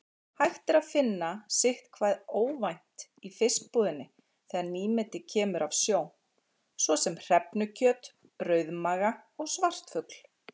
Hægt er að finna sitthvað óvænt í fiskbúðinni þegar nýmeti kemur af sjó, svo sem hrefnukjöt, rauðmaga og svartfugl.